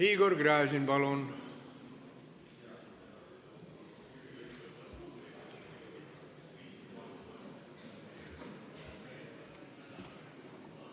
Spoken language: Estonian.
Igor Gräzin, palun!